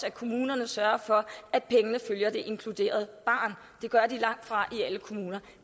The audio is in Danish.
at kommunerne sørger for at pengene følger det inkluderede barn det gør de langtfra i alle kommuner